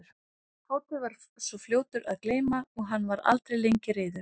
Tóti var svo fljótur að gleyma og hann var aldrei lengi reiður.